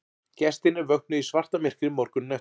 Gestirnir vöknuðu í svartamyrkri morguninn eftir